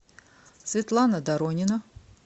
светлана доронина